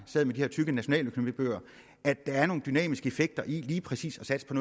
sad med de her tykke nationaløkonomibøger at der er nogle dynamiske effekter i lige præcis at satse på